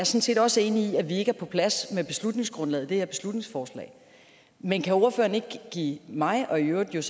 set også enig i at vi ikke er på plads med beslutningsgrundlaget i det her beslutningsforslag men kan ordføreren ikke give mig og i øvrigt